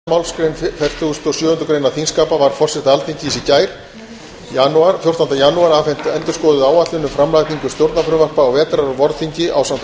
í samræmi við aðra málsgrein fertugustu og sjöundu greinar þingskapa var forseta alþingis afhent í gær fjórtánda janúar endurskoðuð áætlun um framlagningu stjórnarfrumvarpa á vetrar og vorþingi ásamt áætluðum